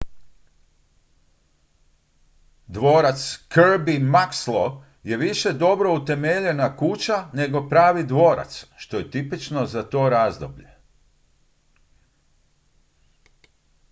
dvorac kirby muxloe je više dobro utemeljena kuća nego pravi dvorac što je tipično za to razdoblje